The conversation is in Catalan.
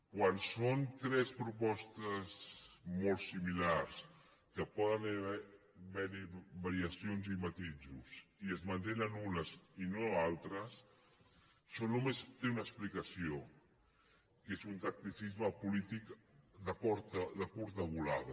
quan són tres propostes molt similars que poden haver hi variacions i matisos i se’n mantenen unes i no altres això només té una explicació que és un tacticisme polític de curta volada